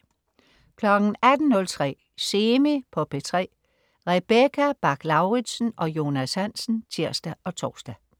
18.03 Semi på P3. Rebecca Bach-Lauritsen og Jonas Hansen (tirs og tors)